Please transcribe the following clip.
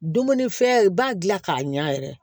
Dumunifɛn i b'a dilan k'a ɲa yɛrɛ